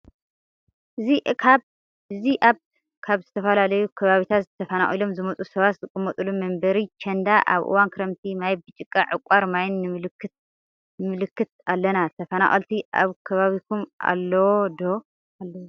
እዚ ኣብ ካብ ዝትፈላለዩ ከባቢታት ተፈናቂሎም ዝመፁ ሰባት ዝቅመጥሉ መንበሪ ቸንዳ ኣብ እዋን ክረምቲ ማይ ብጭቃ ዕቃር ማይን ንምልከት ኣለና። ተፈናቀልቲ ኣብ ከባቢኩም ኣለዎ ዶ?